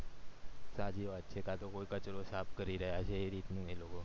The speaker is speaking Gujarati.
સાચી વાત છે કાંટો કોઈ કચરો સાફ કરી રહ્યા છે એ રીત ની લોકો